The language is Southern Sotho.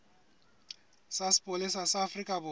sa sepolesa sa afrika borwa